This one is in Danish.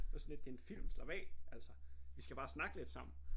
Det var sådan lidt det en film slap af altså vi skal bare snakke lidt sammen